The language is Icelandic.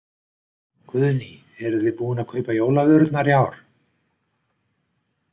Guðný: Eruð þið búin að kaupa jólavörurnar í ár?